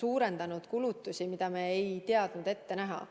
suurendanud kulutusi, mida me ei teadnud ette näha.